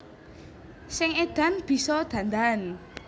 Sing edan bisa dandan